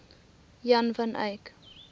jan van eyck